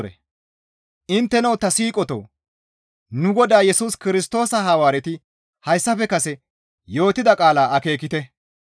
Intteno ta siiqotoo! Nu Godaa Yesus Kirstoosa Hawaareti hayssafe kase yootida qaalaa akeekite.